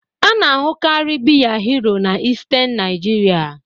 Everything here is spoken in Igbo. A na-ahụkarị biya Hero na Eastern Nigeria